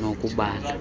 nokudala